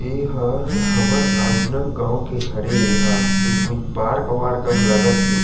इह हा हमर राजनंदगाँव के हरे एहा ए कोई पार्क वार्क लग हे।